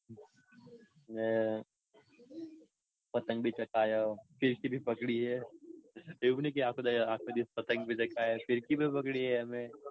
ને પતંગ બી ચલાવી ને ફીરકી બી પકડી હે એવું નઈ કે આખો દિવસ પતંગ જ ચગાવ્યા. ફીરકી બી પકડી હે અમે.